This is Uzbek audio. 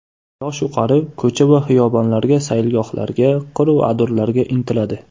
Yoshu qari ko‘cha va xiyobonlarga, sayilgohlarga, qiru adirlarga intiladi.